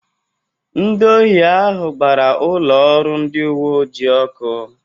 Ndị ohi ahụ gbara ụlọ ọrụ ndị uwe ojii ọkụ.